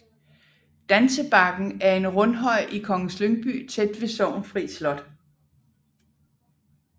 Dansebakken er en rundhøj i Kongens Lyngby tæt ved Sorgenfri Slot